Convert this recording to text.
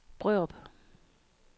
Brørup